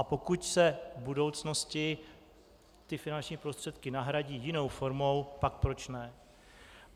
A pokud se v budoucnosti ty finanční prostředky nahradí jinou formou, pak proč ne.